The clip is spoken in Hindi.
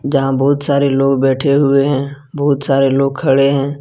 जहां बहुत सारे लोग बैठे हुए हैं बहुत सारे लोग खड़े हैं।